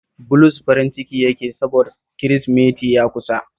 Bulus farin ciki yake yi sabods Kirisimeti ya kusa